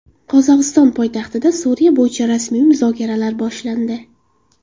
Qozog‘iston poytaxtida Suriya bo‘yicha rasmiy muzokaralar boshlandi.